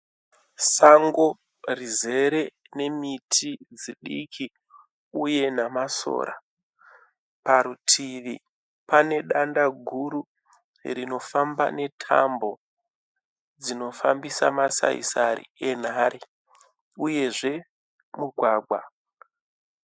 Sango rizere nemiti dzidiki uye namasora. Parutivi pane danda guru rinofamba netambo dzinofambisa masaisai erunhare, Uyezve mugwagwa.